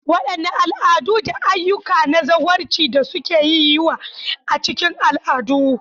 Wadanne al'adu da ayyuka na zawarci da suka yi yawa a cikin al'adu?